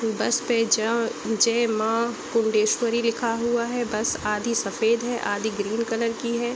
बस पे जा जय माँ कुंडेश्वरी लिखा हुआ है बस आधी सफ़ेद है आधी ग्रीन कलर की है।